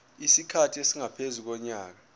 isikhathi esingaphezu konyaka